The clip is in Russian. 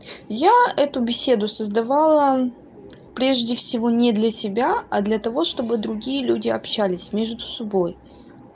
я эту беседу создавала прежде всего не для себя а для того чтобы другие люди общались между собой